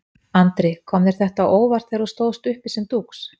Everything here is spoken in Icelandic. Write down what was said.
Andri: Kom þér þetta á óvart þegar þú stóðst uppi sem dúx?